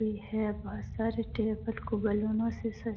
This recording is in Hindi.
भी है बहोत सारे टेबल से सा --